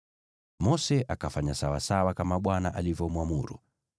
Mose akafanya kama Bwana alivyomwamuru.